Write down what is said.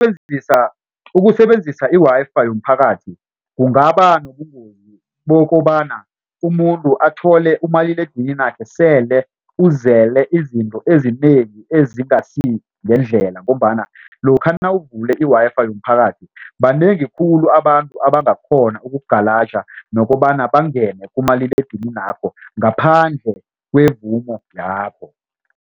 Ukusebenzisa i-Wi-Fi yomphakathi kungaba nobungozi bokobana umuntu athole umaliledininakhe sele uzele izinto ezinengi ezingasi ngendlela ngombana lokha nawuvule i-Wi-Fi yomphakathi banengi khulu abantu abangakghona okukugalaja nokobana bangene kumaliledininakho ngaphandle kwemvumo yakho.